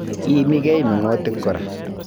Iimigei meng'otik kora